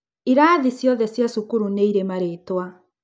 Irathi ciothe cia cukuru nĩirĩ maritwa.